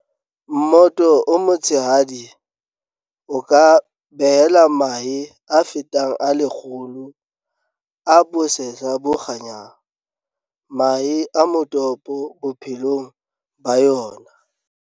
Mmoto o metshehadi o ka behela mahe a fetang a 100 a bosehla bo kganyang, mahe a motopo bophelong ba yona.